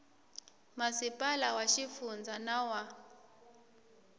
masipala wa xifundza na wa